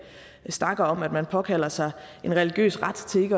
snakker om at man påkalder sig en religiøs ret til